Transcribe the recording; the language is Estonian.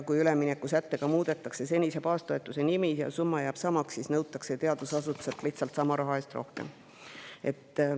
Kui üleminekusättega muudetakse senise baastoetuse nime, kuid summa jääb samaks, siis nõutakse teadusasutuselt lihtsalt sama raha eest rohkem.